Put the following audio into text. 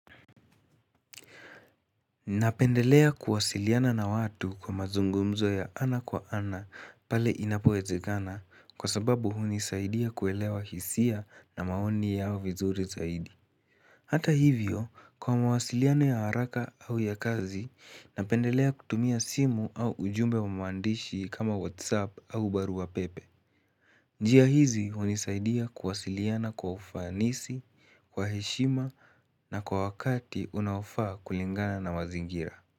Napendelea kuwasiliana na watu kwa mazungumzo ya ana kwa ana pale inapowezekana kwa sababu hunisaidia kuelewa hisia na maoni yao vizuri zaidi. Hata hivyo, kwa mawasiliano ya haraka au ya kazi, napendelea kutumia simu au ujumbe wa maandishi kama whatsapp au barua pepe. Njia hizi hunisaidia kuwasiliana kwa ufanisi, kwa heshima na kwa wakati unaofaa kulingana na mazingira.